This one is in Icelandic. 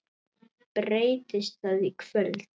Breytist það í kvöld?